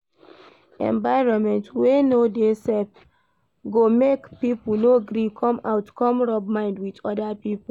Environment wey no de safe go make pipo no gree come out come rub mind with oda pipo